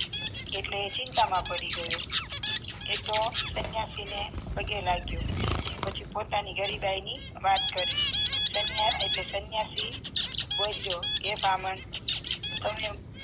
એટલે એ ચિંતા માં પડી ગયો એતો સન્યાસીને પગે લાગ્યો પછી પોતાની ગરીબાઈ ની વાત કરી સાન્યા એટલે સન્યાસી બોલોયો હે બ્રાહ્મણ તમે